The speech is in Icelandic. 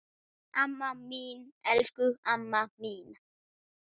Amma mín, elsku amma mín.